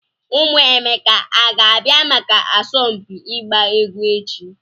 Ụmụ Emeka a ga-abịa maka asọmpi ịgba egwu echi?